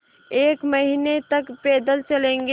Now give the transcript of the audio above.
एक महीने तक पैदल चलेंगे